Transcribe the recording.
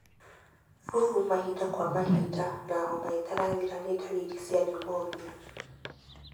Flu mahinda kwa mahinda na homa ĩtarathira nĩ ndariri cia pneumonia.